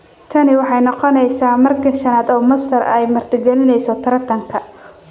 Tani waxay noqoneysaa markii shanaad oo Masar ay martigeliso tartankan.